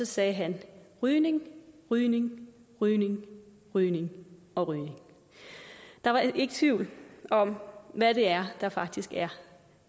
sagde rygning rygning rygning rygning og rygning der er ikke tvivl om hvad der der faktisk er